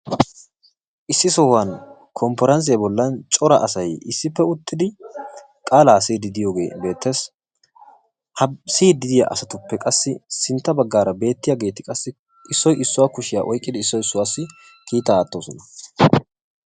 Issi sohuwan konppiranssiya bollan cora asay issippe uttidi qaalaa siyiidi diiyogee beettes. Ha siyiddi diya asatupe qasi sintta baggara beettiyageti qassi issoy issuwa kushiya oyqidi issoy issuwasi kiitaa aattosona.